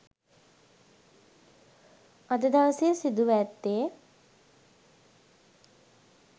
අද දවසේ සිදුව ඇත්තේ